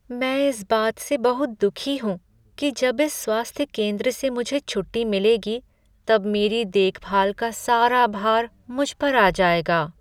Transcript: मैं इस बात से बहुत दुखी कि जब इस स्वास्थ्य केंद्र से मुझे छुट्टी मिलेगी तब मेरी देखभाल का सारा भार मुझ पर आ जाएगा।